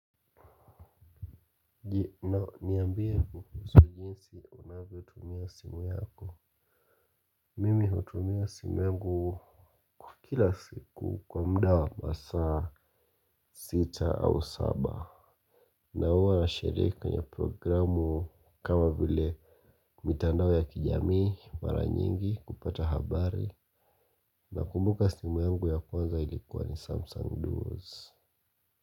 Niambie kuhusu jinsi unavyotumia simu yako. Mimi hutumia simu yangu kila siku kwa muda wa masaa sita au saba na huwa na shirika ni programu kama vile mitandao ya kijamii mara nyingi kupata habari nakumbuka simu yangu ya kwanza ilikuwa ni samsung duos. Kwa hivyo.